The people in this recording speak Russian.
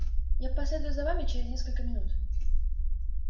я последую за вами через несколько минут